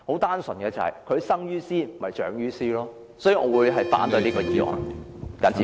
單純基於他們生於斯長於斯，我反對這項議案。